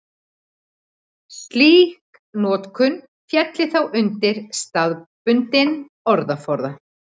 Slík notkun félli þá undir staðbundinn orðaforða.